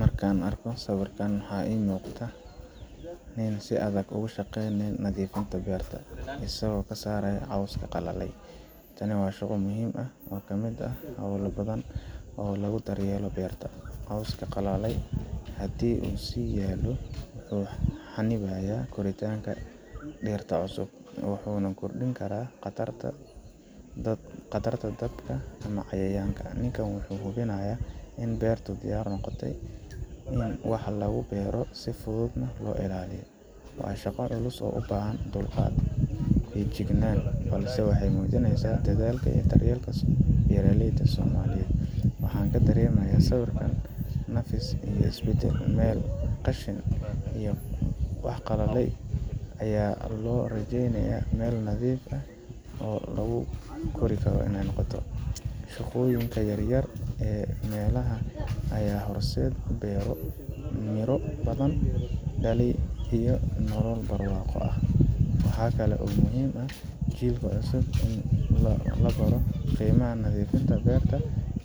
Markaan arko sawirkan, waxa ii muuqda waa nin si adag uga shaqeynaya nadiifinta beerta, isagoo ka saaraya cawska qalalay. Tani waa shaqo muhiim ah oo ka mid ah howlo badan oo lagu daryeelo beerta. Cawska qalalay haddii uu sii yaallo, wuxuu xanibaa koritaanka dhirta cusub, wuxuuna kordhin karaa khatarta dabka ama cayayaanka. Ninkan wuxuu hubinayaa in beertu diyaar u noqoto in wax lagu beero ama si fudud loo ilaaliyo. Waa shaqo culus oo u baahan dulqaad iyo feejignaan, balse waxay muujinaysaa dadaalka iyo daryeelka beeraleyda Soomaaliyeed. Waxaan ka dareemayaa sawirkan nafis iyo isbedel meel qashin iyo qallayl ahayd ayaa loo rogayaa meel nadiif ah oo wax lagu kori karo. Shaqooyinkan yaryar ee maalinlaha ah ayaa horseeda beero miro badan dhalay iyo nolol barwaaqo ah. Waxaa kale oo muhiim ah in jiilka cusub la baro qiimaha nadiifinta beerta